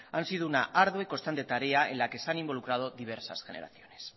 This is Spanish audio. han sido una ardua y constante tarea en la que se han involucrado diversas generaciones